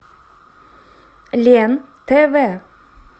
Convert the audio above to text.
лен тв